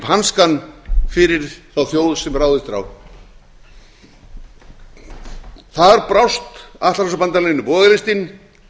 hanskann fyrir þá þjóð sem ráðist er á þar brást atlantshafsbandalaginu bogalistin